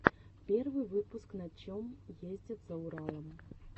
первый выпуск на чем ездят за уралом